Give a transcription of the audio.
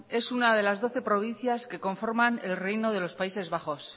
es una de las doce provincias que conforman el reino de los países bajos